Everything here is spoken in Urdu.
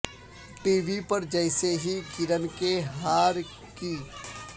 ٹی وی پر جیسے ہی کرن کے ہار کی